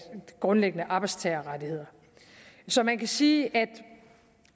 grundlæggende arbejdstagerrettigheder så man kan sige at